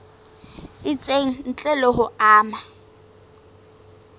itseng ntle le ho ama